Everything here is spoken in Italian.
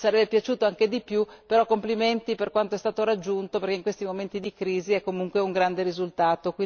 Ci sarebbe piaciuto anche di più però mi complimento per quanto è stato raggiunto, perché in questi momenti di crisi è comunque un grande risultato.